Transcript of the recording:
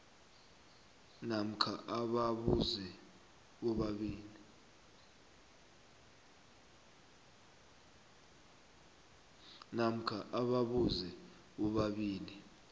namkha ababuze bobabili